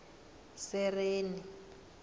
sereni